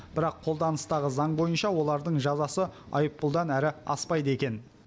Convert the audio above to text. бірақ қолданыстағы заң бойынша олардың жазасы айыппұлдан әрі аспайды екен